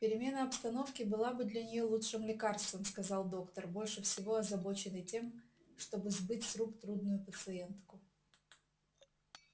перемена обстановки была бы для нее лучшим лекарством сказал доктор больше всего озабоченный тем чтобы сбыть с рук трудную пациентку